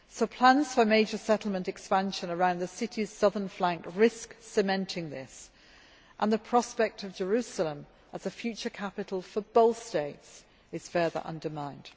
Plans for major settlement expansion around the city's southern flank risk cementing this, and the prospect of Jerusalem as the future capital for both states is being further undermined.